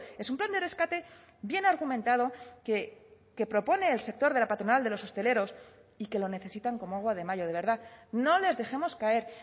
es un plan de rescate bien argumentado que propone el sector de la patronal de los hosteleros y que lo necesitan como agua de mayo de verdad no les dejemos caer